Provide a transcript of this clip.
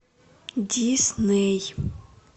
дисней